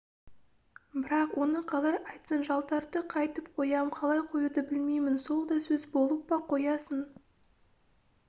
бірақ оны қалай айтсын жалтарды қайтіп қоям қалай қоюды білмеймін сол да сөз болып па қоясың